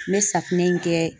N bɛ safinɛ in kɛ